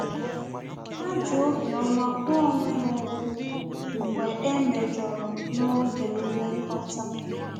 Ha ji obiọma gwa onwe ha okwu mgbe e mejọrọ n'oge nlekọta